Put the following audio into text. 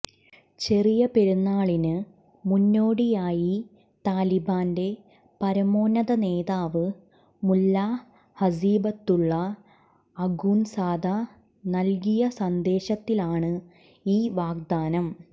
ചെറിയ പെരുന്നാളിന് മുന്നോടിയായി താലിബാന്റെ പരമോന്നതനേതാവ് മുല്ല ഹസീബത്തുള്ള അഖുൻസാദ നൽകിയ സന്ദേശത്തിലാണ് ഈ വാഗ്ദാനം